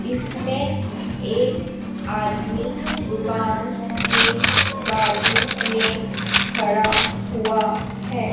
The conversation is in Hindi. इसमें एक आदमी दुकान के बाजू में खड़ा हुवा हैं।